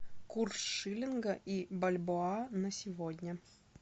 курс шиллинга и бальбоа на сегодня